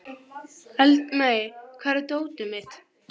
Natanael, hvernig er veðurspáin?